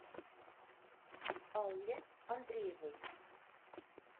алле андреевой